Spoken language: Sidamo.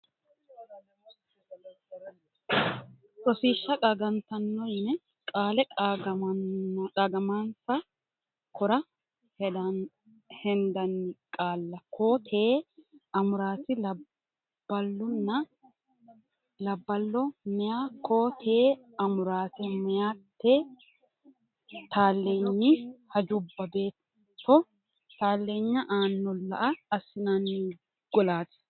Rosiishsha Qaagantanno yine Qaale Qaagamansa kora hendanni qaalla koo tee amuraati labballunna labballo meya koo tee amuraate meyate talleenyi hajubba beetto taaleenya aana lao assinanni golaati.